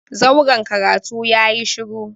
zauren karatu yayi shuru.